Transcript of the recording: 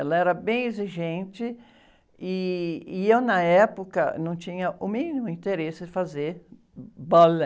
Ela era bem exigente e, e eu, na época, não tinha o mínimo interesse de fazer balé.